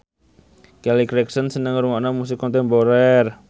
Kelly Clarkson seneng ngrungokne musik kontemporer